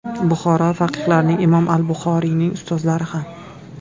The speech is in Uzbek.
Buxoro faqihlarining, Imom al-Buxoriyning ustozlari ham.